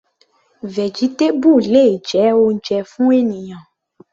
Vegetable le jẹ́ oúnjẹ fún ènìyàn.